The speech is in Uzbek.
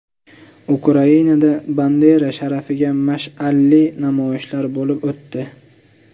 Ukrainada Bandera sharafiga mash’alli namoyishlar bo‘lib o‘tdi.